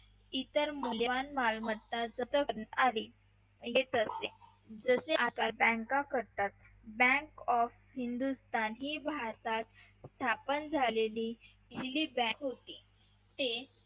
इतर मौल्यवान मालमत्ता जप्त करण्यात आली येत असते तेच काम आता बँका करतात bank of हिंदुस्थान ही भारतात स्थापन झालेली पहिली Bank होती ते